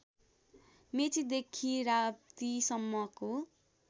मेचीदेखि राप्ती सम्मको